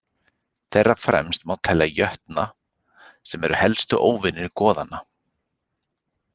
Þeirra fremst má telja jötna sem eru helstu óvinir goðanna.